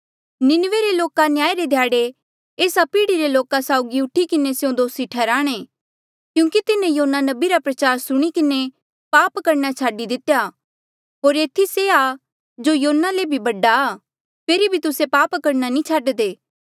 नीनवे रे लोका न्याय रे ध्याड़े एस्सा पीढ़ी रे लोका साउगी उठी किन्हें स्यों दोसी ठैहराणे क्यूंकि तिन्हें योना नबी रा प्रचार सुणी किन्हें पाप करणा छाडी दितेया होर ऐथी से आ जो योना ले बडा आ फेरी भी तुस्से पाप करणा नी छाडदे